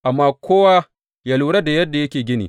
Amma kowa yă lura da yadda yake gini.